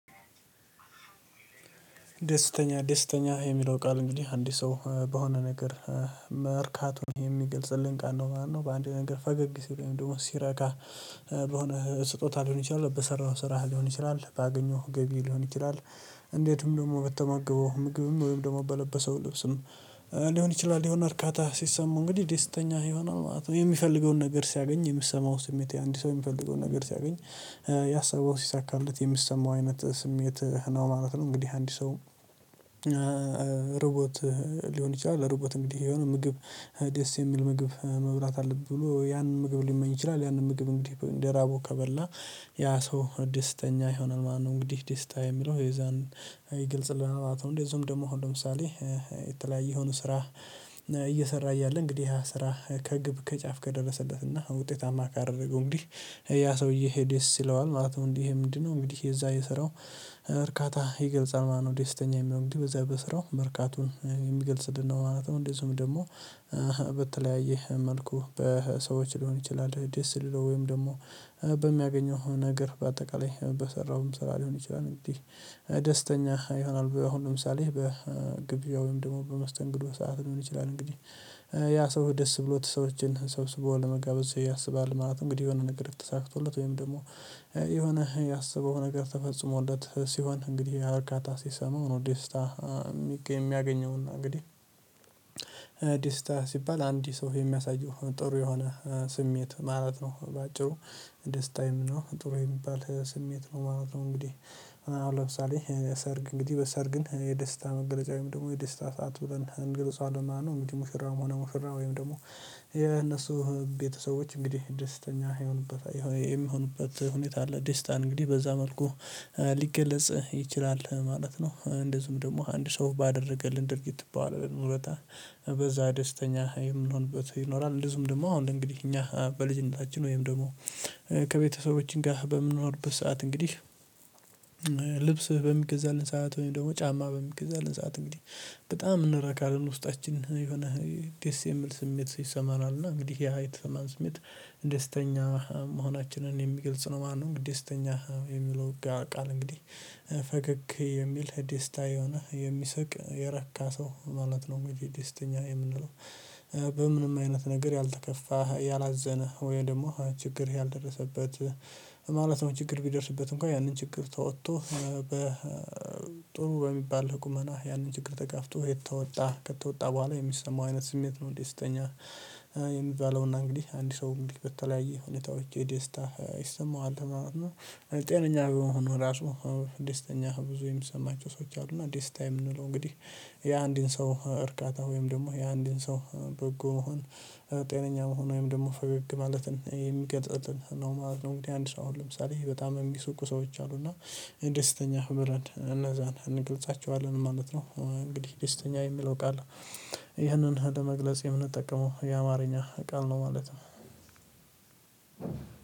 ደስተኛ ደስተኛ የሚለው ቃል እንግዲህ አንድ ሰው በሆነ ነገር መርካቱን የሚገልጽልን ቃል ነው ማለት ነው በአንድ ነገር ፈገግ ሲል ወይም ደግሞ ሲረካ። በሆነ ስጦታ ሊሆን ይችላል በሰራኸው ስራህ ሊሆን ይችላል ባገኘኸው ገቢ ሊሆን ይችላል። እንዴዚሁም ደግሞ በተመገበው ምግብም ወይም ደግሞ በለበሰው ልብስም ሊሆን ይችላል ይሆናል እርካታ ሲሰማው እንግዲህ ደስተኛ ይሆናል ማለት ነው። የሚፈልገውን ነገር ሲያገኝ የሚሰማው ስሜት አንድ ሰው የሚፈልገውን ነገር ሲያገኝ ያሰበው ሲሳካለት የሚሰማው አይነት ስሜት ነው ማለት ነው። እንግዲህ አንድ ሰው። ርቦት ሊሆን ይችላል ርቦት እንግዲህ የሆነ ምግብ ደስ የሚል ምግብ መብላት አለብኝ ብሎ ያንን ምግብ ሊመኝ ይችላል ያንን ምግብ እንግዲህ እንደ ራበው ከበላ ያ ሰው ደስተኛ ይሆናል። ማነው እንግዲህ ደስታ የሚለው የዛን ይገልጽልናል ማለት ነው። እንደዚሁም ደግሞ አሁን ለምሳሌ የተለያየ የሆኑ ስራ እየሰራ እያለ እንግዲህ ያ ስራ ከግብ ከጫፍ ከደረሰበትና ውጤታማ ካደረገው እንግዲህ ያ ሰውዬ ይሄ ደስ ይለዋል። ማለት ነው እንግዲ ይሄ ምንድነው እንግዲህ የዛ የስራው እርካታ ይገልጻል ማለት ነው። ዴስተኛ የሚሆን እንግዲህ በዚህ በስራው መርካቱን የሚገልጽልን ነው ማለት ነው። እንደዚሁም ደግሞ በተለያየ መልኩ በሰዎች ሊሆን ይችላል ደስ ሊለው ወይም ደግሞ በሚያገኘው ነገር በአጠቃላይ በሰራውም ስራ ሊሆን ይችላል እንግዲህ ደስተኛ ይሆናል። በአሁን ለምሳሌ በግብዣ ወይም ደግሞ በመስተንግዶ ሰዓት ሊሆን ይችላል እንግዲህ ያ ሰው ደስ ብሎት ሰዎችን ሰብስቦ ለመጋበዝ ሰው ያስባል። ማለት እንግዲህ የሆነ ነገር ተሳክቶለት ወይም ደግሞ የሆነ ያሰበው ነገር ተፈጽሞለት ሲሆን እንግዲህ ያ እርካታ ሲሰማው ነው። ዴስታ የሚገኝ የሚያገኘውና እንግዲህ ደስታ ሲባል አንድ ሰው የሚያሳየው ጥሩ የሆነ ስሜት ማለት ነው። በአጭሩ ደስታዬም ነው ጥሩ የሚባል ስሜት ነው ማለት ነው። እንግዲህ ለምሳሌ ሰርግ እንግዲህ በሰርግን የደስታ መገለጫ ወይም ደግሞ የደስታ ሰዓት ብለን እንገልፀዋለን ማለት ነው። እንግዲህ መሽራም ሆነ ሙሽራ ወይም ደግሞ የነሱ ቤተሰቦች እንግዲህ ደስተኛ የሆኑበት የሚሆኑበት ሁኔታ አለ። ደስታ እንግዲህ በዛ መልኩ ሊገለጽ ይችላል ማለት ነው። እንደዚሁም ደግሞ አንድ ሰው ባደረገልን ድርጊት በዋለልን ውለታ በዛ ደስተኛ የምንሆንበት ይኖራል። እንደዚሁም ደግሞ አሁን እንግዲህ እኛ በልጅነታችን ወይም ደግሞ ከቤተሰባችን ጋር በምንኖርበት ሰዓት እንግዲህ ልብስ በሚገዛልን ሰዓት ወይም ደግሞ ጫማ በሚገዛልን ሰዓት እንግዲህ በጣም እንረካለን ውስጣችን የሆነ ደስ የሚል ስሜት ይሰማናል እና እንግዲህ ይሀ የተሠማን ስሜት ደስተኛ መሆናችንን የሚገልጽ ነው ማለት ነው። እንግዲህ ደስተኛ የሚለው ቃል እንግዲህ ፈገግ የሚል ደስታ የሆነ የሚስቅ የረካ ሰው ማለት ነው። እንግዲህ ደስተኛ የምንለው በምንም አይነት ነገር ያልተከፋህ ያላዘንህ ወይም ደግሞ ችግርህ ያልደረሰበት ማለት ነው። ችግር ቢደርስበት እንኳን ያንን ችግር ተወጥቶ በጥሩ በሚባል ቁመና ያንን ችግር ተጋፍጦ የተወጣ ከተወጣ በኋላ የሚሰማው አይነት ስሜት ነው። ደስተኛ የሚባለውና እንግዲህ አንድ ሰው እንግዲህ በተለያየ ሁኔታዎች የደስታ ይሰማዋል ማለት ነው። ጤነኛ በመሆኑ ራሱ ደስተኛ ብዙ የሚሰማቸው ሰዎች አሉ። እና ዴስታ የምንለው እንግዲህ የአንድን ሰው እርካታ ወይም ደግሞ የአንድን ሰው በጎ መሆን ጤነኛ መሆን ወይም ደግሞ ፈገግ ማለትን የሚቀጥልልን ነው ማለት ነው። እንግዲህ አንድ ሰው አሁን ለምሳሌ ይሄ በጣም የሚስቁ ሰዎች አሉ እና ደስተኛ ብለን እነዛን እንገልጻቸዋለን ማለት ነው። እንግዲህ ደስተኛ የሚለው ቃል ይህንን ለመግለጽ የምንጠቀመው የአማርኛ ቃል ነው ማለት ነው።